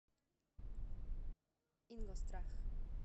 ингосстрах